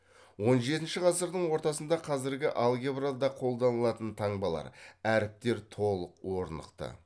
он жетінші ғасырдың ортасында қазіргі алгебрада қолданылатын таңбалар әріптер толық орнықты